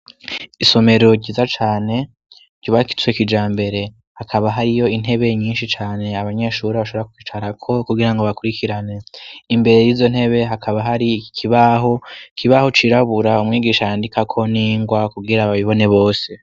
Isomero ryiza cane ryubakitswe kijambere hakaba hari yo intebe nyinshi cane abanyeshuri bashobora kwicara ko kugira ngo bakurikirane imbere y'izo ntebe hakaba hari kibaho cirabura umwigisha yandika ko ningwa kubwira ababibone bose.